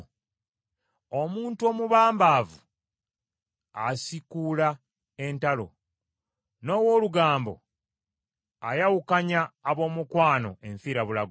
Omuntu omubambaavu asiikuula entalo, n’ow’olugambo ayawukanya ab’omukwano enfirabulago.